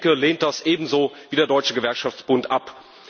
Die Linke lehnt das ebenso wie der Deutsche Gewerkschaftsbund ab.